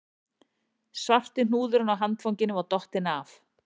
Svarti hnúðurinn á handfanginu var dottinn af